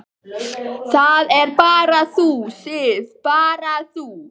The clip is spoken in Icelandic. Það ert bara þú, Sif. bara þú.